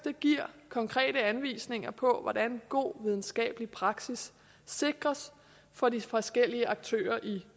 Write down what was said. giver konkrete anvisninger på hvordan god videnskabelig praksis sikres for de forskellige aktører i